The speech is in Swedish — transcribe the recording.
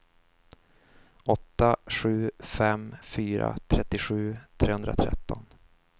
åtta sju fem fyra trettiosju trehundratretton